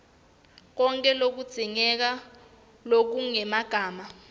konkhe lokudzingekile lokungemagama